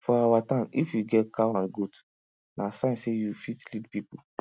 for our town if you get cow and goat na sign say you fit lead people